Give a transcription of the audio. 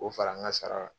K'o fara n ka sara kan